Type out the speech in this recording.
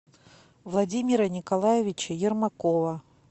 владимира николаевича ермакова